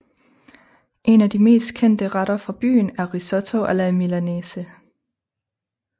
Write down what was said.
En af de mest kendte retter fra byen er risotto alla milanese